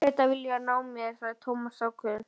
Bretar vilja ná mér sagði Thomas ákveðinn.